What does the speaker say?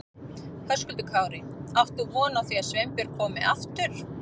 Höskuldur Kári: Átt þú von á því að Sveinbjörg komi aftur?